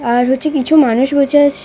আর হচ্ছে কিছু মানুষ বসে আছ --